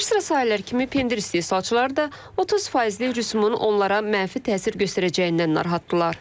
Bir sıra sahələr kimi pendir istehsalçıları da 30 faizli rüsumun onlara mənfi təsir göstərəcəyindən narahatdırlar.